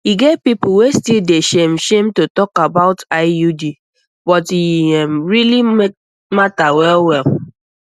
e get people wey still dey shame shame to talk about iud um but e um really matter well well